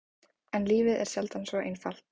En lífið er sjaldan svona einfalt.